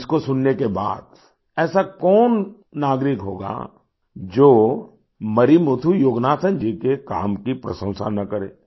अब इसको सुनने के बाद ऐसा कौन नागरिक होगा जो मरिमुथु योगनाथन जी के काम की प्रशंसा न करे